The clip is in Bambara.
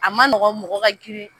A ma nɔgɔ mɔgɔ ka girin